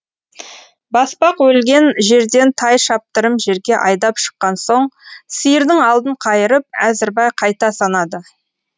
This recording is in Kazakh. баспақ өлген жерден тай шаптырым жерге айдап шыққан соң сиырдың алдын қайырып әзірбай қайта санады